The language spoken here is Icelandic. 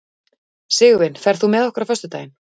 Sigurvin, ferð þú með okkur á föstudaginn?